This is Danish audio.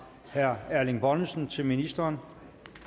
herre erling bonnesen til ministeren